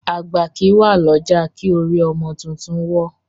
Àgbà kí wà lọ́jà, kí orí ọmọ títún ó wọ́